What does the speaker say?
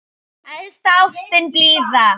Æðsta ástin blíða!